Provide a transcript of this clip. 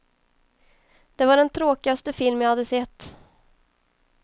Det var den tråkigaste film jag hade sett.